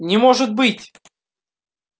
не может быть